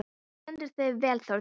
Þú stendur þig vel, Þórdís!